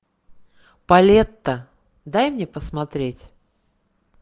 полетта дай мне посмотреть